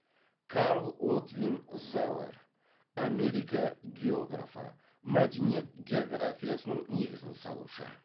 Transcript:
карл отвин зауэр америка географы мәдениет географиясының негізін салушы